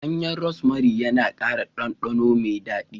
Ganyen Rosemary yana ƙara ɗanɗano mai daɗi